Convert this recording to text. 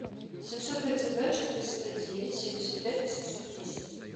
семьсот тридцать два четыреста девять семьдесят пять восемьсот десять